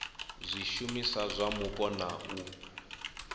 zwishumiswa zwa mupo na u